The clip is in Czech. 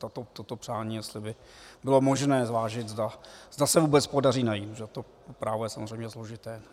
Toto přání jestli by bylo možné zvážit, zda se vůbec podaří najít, protože to právo je samozřejmě složité.